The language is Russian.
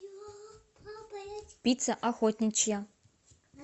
пицца охотничья